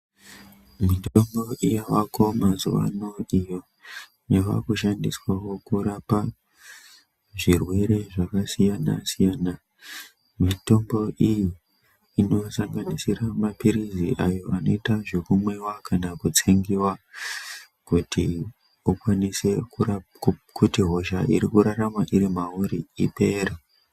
Mitombo yavako mazuwano iyo yavakushandiswawo kurapa zvirwere zvakasiyana siyana. Mitombo iyi inosanganisira maphirizi ayo anoita zvekumwiwa kana kutsengiwa kuti ukwanise kuti hosha irikurarama irimauri ipere.